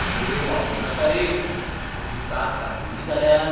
Blade वापरनाका रे. म्हजी कात कातल्ली जाल्यार?